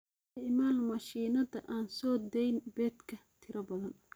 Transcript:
Isticmaal mashiinnada aan soo dayn beedka tiro badan.